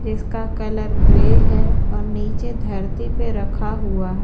इसका colour grey है और नीचे धरती पर रखा हुआ है।